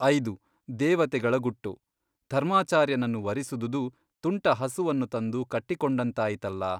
ಐದು, ದೇವತೆಗಳ ಗುಟ್ಟು ಧರ್ಮಾಚಾರ್ಯನನ್ನು ವರಿಸಿದುದು ತುಂಟ ಹಸುವನ್ನು ತಂದು ಕಟ್ಟಿ ಕೊಂಡಂತಾಯಿತಲ್ಲಾ !